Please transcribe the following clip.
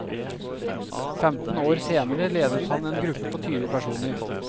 Femten år senere leder han en gruppe på tyve personer.